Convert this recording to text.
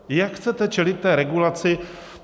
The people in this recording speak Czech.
Jak chcete čelit té regulaci?